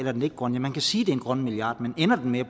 er den ikke grøn man kan sige at er en grøn milliard men ender den med at